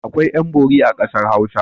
Akwai ƴan-bori a ƙasar Hausa.